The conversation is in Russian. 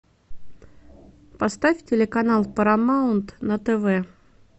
поставь телеканал парамаунт на тв